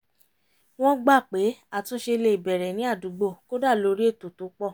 wọ́n gbà pé àtúnṣe le bẹ̀rẹ̀ ní àdúgbò kódà lórí ètò tó pọ̀